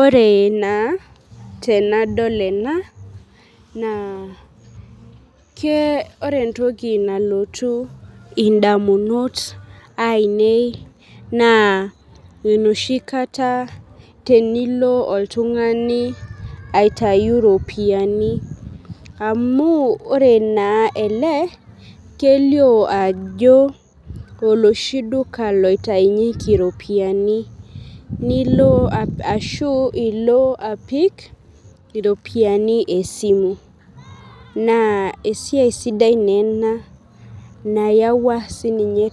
Ore na tenadol ena na ore entoki nalotu ndamunot ainei na enoshi kata tenilo oltungani aitau ropiyani amu ore ele kelio ajo oloshi duka oiatunyeki iropiyiani ashu ilo apik iropiyiani esimu na esiaia sidai na ena nayawua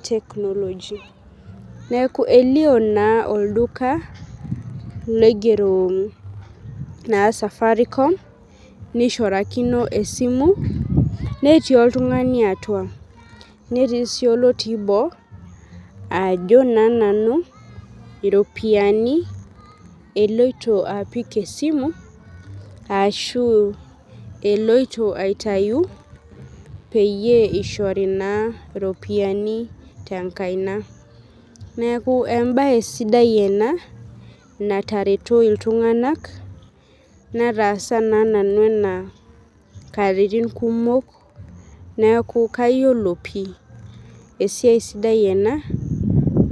technologia neaku elio na olduka oigero Safaricom netiu oltungani atua netii oltungani otii boo ajo na nanu iropiyiani eloito apik esimu ashu aitau peyie ishori na ropiyani tenkaina neaku embae sidai ena natareto ltunganak nataasa nanu ena katitin kumok neaku keyiolo pii esaia sidai ena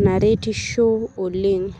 naretisho oleng.